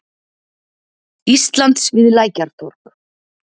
Íslands við Lækjartorg.